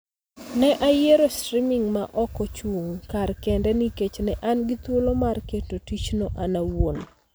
Ne ayiero streaming ma ok ochung� kar kende nikech ne an gi thuolo mar keto tichno an awuon